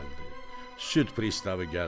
Süd pristavı gəldi.